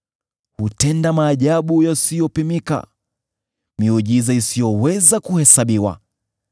Hutenda maajabu yasiyopimika, miujiza isiyoweza kuhesabiwa.